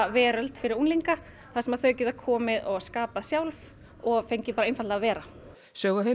veröld fyrir unglinga þar sem þau geta komið og skapað sjálf og fengið bara einfaldlega að vera